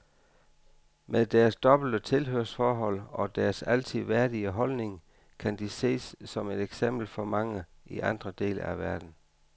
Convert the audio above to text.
Med deres dobbelte tilhørsforhold og deres altid værdige holdning, kan de ses som et eksempel for mange i andre dele af verden.